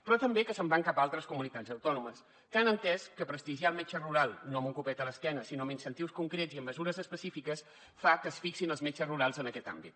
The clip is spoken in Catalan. però també que se’n van cap a altres comunitats autònomes que han entès que prestigiar el metge rural no amb un copet a l’esquena sinó amb incentius concrets i amb mesures específiques fa que es fixin els metges rurals en aquest àmbit